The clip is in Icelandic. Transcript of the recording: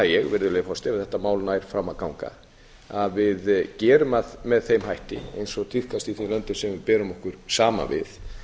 ég virðulegi forseti ef þetta mál nær fram að ganga að við gerum það með þeim hætti eins og tíðkast í þeim löndum sem við berum okkur saman við